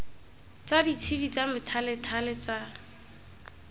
tsa ditshedi tsa methalethale tsa